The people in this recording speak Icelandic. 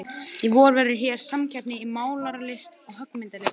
Í vor verður hér samkeppni í málaralist og höggmyndalist.